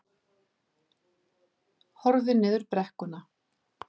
Horfði niður í brekkuna.